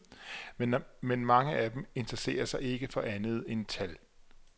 Men mange af dem interesserer sig ikke for andet end tal.